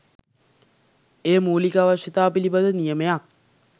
එය මූලික අවශ්‍යතා පිළිබඳ නියමයක්